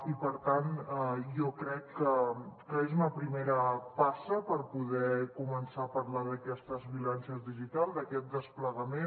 i per tant jo crec que és una primera passa per poder començar a parlar d’aquestes violències digitals d’aquest desplegament